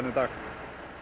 í dag